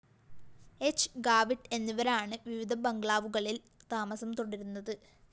ഹ്‌ ഗാവിട്ട് എന്നിവരാണ് വിവിധ ബംഗ്ലാവുകളില്‍ താമസം തുടരുന്നത്